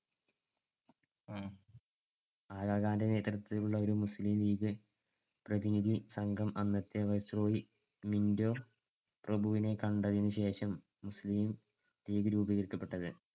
ആഗാ ഖാന്‍ടെ നേതൃത്വത്തിലുള്ള ഒരു മുസ്ലീം ലീഗ് പ്രതിനിധി സംഘം അന്നത്തെ viceroy മിൻറ്റോ പ്രഭുവിനെ കണ്ടതിനുശേഷം മുസ്ലീം ലീഗ് രൂപീകരിക്കപ്പെട്ടത്.